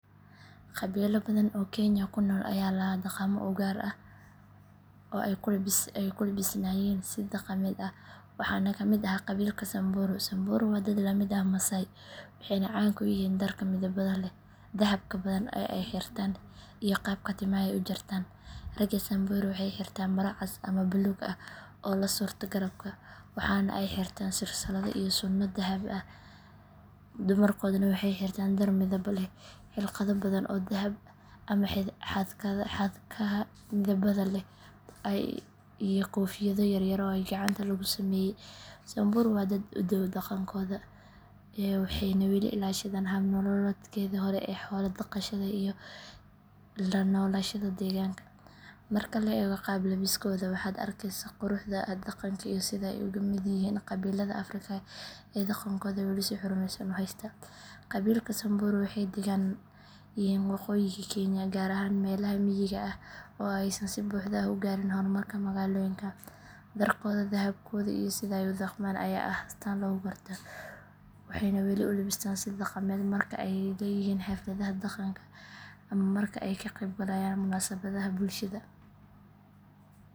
Qabiilo badan oo Kenya ku nool ayaa lahaa dhaqamo u gaar ah oo ay ku labisnaayeen si dhaqameed ah, waxaana ka mid ahaa qabiilka Samburu. Samburu waa dad la mid ah Maasai, waxayna caan ku yihiin dharka midabada leh, dahabka badan ee ay xirtaan, iyo qaabka timaha ay u jartaan. Ragga Samburu waxay xirtaan maro cas ama buluug ah oo la surto garabka, waxaana ay xirtaan silsilado iyo suunno dahab ah. Dumarkooduna waxay xirtaan dhar midabo leh, hilqado badan oo dahab ama xadhkaha midabada leh ah, iyo koofiyado yar yar oo gacanta lagu sameeyay. Samburu waa dad aad u dhow dhaqankooda, waxayna weli ilaashadaan hab nololeedkoodii hore ee xoola dhaqashada iyo la noolashada deegaanka. Marka la eego qaab labiskooda, waxaad arkaysaa quruxda dhaqanka iyo sida ay uga mid yihiin qabiilada Afrika ee dhaqankooda weli si xurmeysan u haysta. Qabiilka Samburu waxay deggan yihiin waqooyiga Kenya, gaar ahaan meelaha miyiga ah oo aysan si buuxda u gaarin horumarka magaalooyinka. Dharkooda, dahabkooda, iyo sida ay u dhaqmaan ayaa ah astaan lagu garto, waxayna weli u labistaan si dhaqameed marka ay leeyihiin xafladaha dhaqanka ama marka ay ka qaybgalayaan munaasabadaha bulshada.